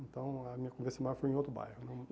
Então, a minha convivência maior foi em outro bairro.